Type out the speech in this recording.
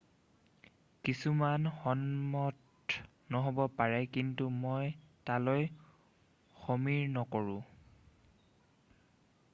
"""কিছুমান সন্মত নহব পাৰে কিন্তু মই তালৈ সমীহ নকৰোঁ।""